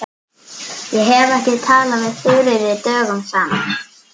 Ég hef ekki talað við Þuríði dögum saman.